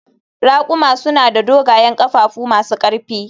Raƙuma suna da dogayen ƙafafu masu ƙarfi